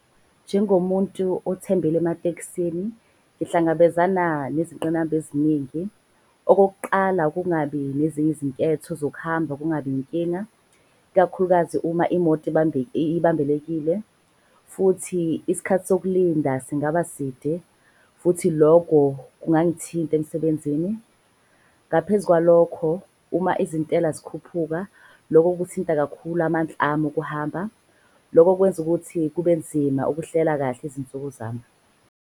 Njengomuntu othembele emateksini, ngihlangabezana nezinqinamba eziningi. Okokuqala, kungabi nezinye izinketho zokuhamba kungabi inkinga ikakhulukazi uma imoto ibambekile. Futhi iskhathi sokulinda singaba side futhi loko kungangithinta emsebenzini. Ngaphezu kwalokho uma izintela zikhuphuka, loko kuthinta kakhulu ami okuhamba. Loko kwenza ukuthi kubenzima ukuhlela kahle izinsuku zami.